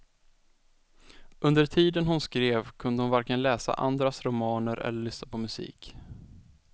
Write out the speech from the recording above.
Under tiden hon skrev, kunde hon varken läsa andras romaner eller lyssna på musik.